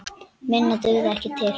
Minna dugði ekki til.